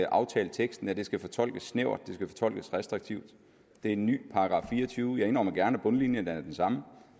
aftaleteksten at det skal fortolkes snævert at det skal fortolkes restriktivt det er en ny § fireogtyvende jeg indrømmer gerne at bundlinjen er den samme